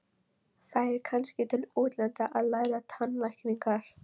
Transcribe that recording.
Færi kannski til útlanda að læra tannlækningar.